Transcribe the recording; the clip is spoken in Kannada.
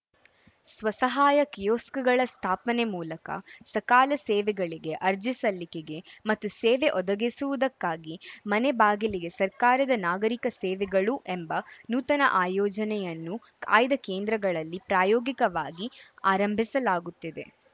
ಸ್ವಸಹಾಯ ಕಿಯೋಸ್ಕ್‌ಗಳ ಸ್ಥಾಪನೆ ಮೂಲಕ ಸಕಾಲ ಸೇವೆಗಳಿಗೆ ಅರ್ಜಿ ಸಲ್ಲಿಕೆಗೆ ಮತ್ತು ಸೇವೆ ಒದಗಿಸುವುದಕ್ಕಾಗಿ ಮನೆ ಬಾಗಿಲಿಗೆ ಸರ್ಕಾರದ ನಾಗರಿಕ ಸೇವೆಗಳು ಎಂಬ ನೂತನ ಆಯೋಜನೆಯನ್ನು ಆಯ್ದ ಕೇಂದ್ರಗಳಲ್ಲಿ ಪ್ರಾಯೋಗಿಕವಾಗಿ ಆರಂಭಿಸಲಾಗುತ್ತಿದೆ